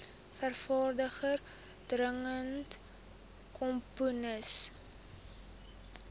vervaardiger dirigent komponis